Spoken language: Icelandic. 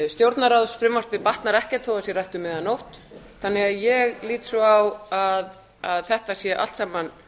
stjórnarráðsfrumvarpið batnar ekkert þó að það sé rætt um miðja nótt þannig að ég lít svo á að þetta sé allt saman